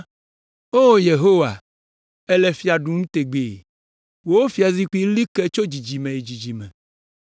O, Yehowa, èle fia ɖum tegbee, wò fiazikpui li ke tso dzidzime yi dzidzime.